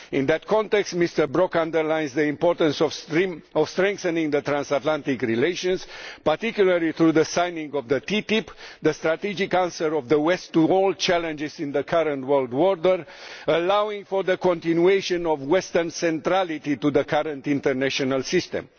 In that context, Mr Brok underlines the importance of strengthening Transatlantic relations, particularly through the signing of the TTIP, the strategic answer of the West to all challenges in the current world order, allowing for the continuation of Western centrality to the current international system.